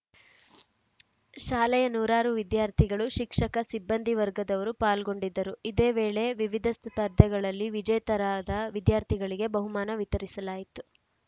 ಶಾಲೆಯ ನೂರಾರು ವಿದ್ಯಾರ್ಥಿಗಳು ಶಿಕ್ಷಕ ಸಿಬ್ಬಂದಿ ವರ್ಗದವರು ಪಾಲ್ಗೊಂಡಿದ್ದರು ಇದೇ ವೇಳೆ ವಿವಿಧ ಸ್ಪರ್ಧೆಗಳಲ್ಲಿ ವಿಜೇತರಾದ ವಿದ್ಯಾರ್ಥಿಗಳಿಗೆ ಬಹುಮಾನ ವಿತರಿಸಲಾಯಿತು